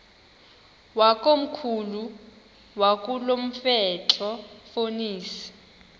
wakomkhulu wakulomfetlho fonis